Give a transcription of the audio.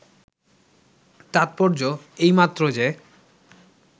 তাৎপর্য্য এই মাত্র যে